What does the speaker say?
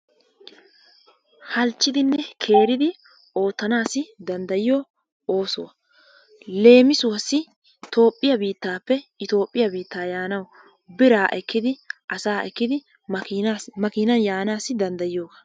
Halchchiddinne keeridi oottanaassi danddayiyo ooso, leemissuwaassi Toophphiya biittaappe Etoophphiya biittaa yaanawu biraa ekkidi asaa ekkidi makiinaan yaanaassi danddayiyooga.